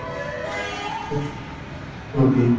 উন্নতি।